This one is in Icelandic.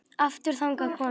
Aftur þagnaði konan.